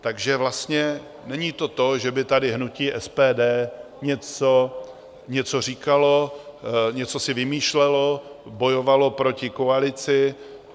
Takže vlastně není to to, že by tady hnutí SPD něco říkalo, něco si vymýšlelo, bojovalo proti koalici.